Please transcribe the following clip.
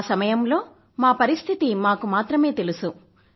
ఆ సమయంలో మా పరిస్థితి మాకు మాత్రమే తెలుసు